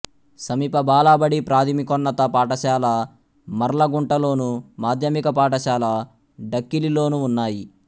సమీప బాలబడి ప్రాథమికోన్నత పాఠశాల మర్లగుంటలోను మాధ్యమిక పాఠశాల డక్కిలిలోనూ ఉన్నాయి